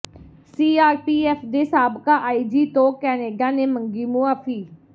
CRPF ਦੇ ਸਾਬਕਾ IG ਤੋਂ ਕੈਨੇਡਾ ਨੇ ਮੰਗੀ ਮੁਆਫ਼ੀ